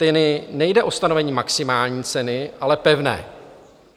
Tady nejde o stanovení maximální ceny, ale pevné.